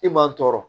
I man tɔɔrɔ